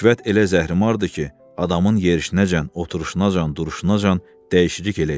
Rüşvət elə zəhrimardır ki, adamın yerişinəcən, oturuşunacan, duruşunacan dəyişiklik eləyir.